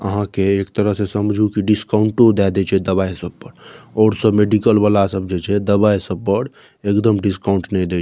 अहां के एक तरह से समझू की डिस्काउंट दे देय छै दवाई सब पर और सब मेडिकल वाला सब जे छै दवाई सब पर एकदम डिस्काउंट ने देत।